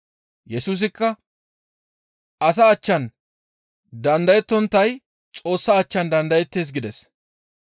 Yesusikka, «Asa achchan dandayettonttay Xoossa achchan dandayettees» gides.